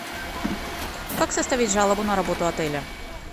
как составить жалобу на работу отеля